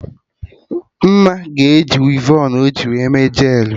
Mma ga-eji wivon ọjị wee mee jel